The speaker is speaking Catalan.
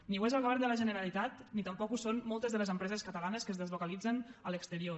ni ho és el govern de la generalitat ni tampoc ho són moltes de les empreses catalanes que es deslocalitzen a l’exterior